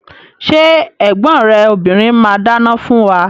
Ṣé ẹ̀gbọ́n rẹ obìrin máa dáná fún wa?